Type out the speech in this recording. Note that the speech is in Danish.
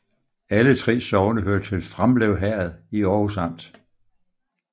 Alle 3 sogne hørte til Framlev Herred i Aarhus Amt